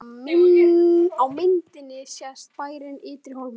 Á myndinni sést bærinn Ytri-Hólmur.